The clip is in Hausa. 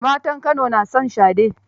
Matan Kano na son shade.